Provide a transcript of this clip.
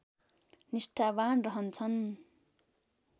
निष्ठावान् रहन्छन्